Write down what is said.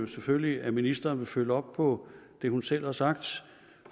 selvfølgelig at ministeren vil følge op på det hun selv har sagt